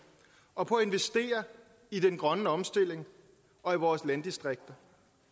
og på at investere i den grønne omstilling og i vores landdistrikter